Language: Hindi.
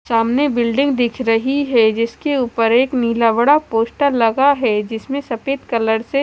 सामने बिल्डिंग दिख रही है जिसके ऊपर एक नीला बड़ा पोस्टर लगा है जिसमें सफेद कलर से--